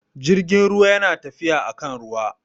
Jirgin ruwa yana tafiya akan ruwa